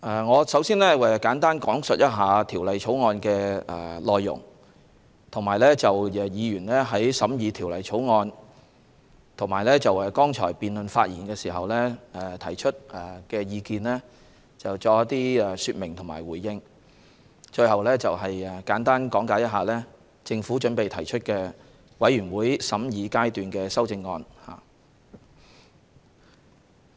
我首先簡單講述《條例草案》的內容，並就議員在法案委員會審議及在剛才的辯論發言時提出的意見作出一些說明和回應，最後簡單講解政府準備提出的全體委員會審議階段修正案。